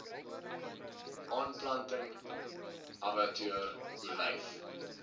aanplanting abbatior olyf